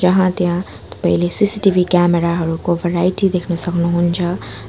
यहाँ त्यहाँ तपाईँले सि_सि_टि_भी क्यामेरा हरूको भराइटी देख्न सक्नुहुन्छ।